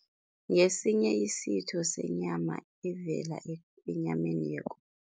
Ngesinye isitho senyama evela enyameni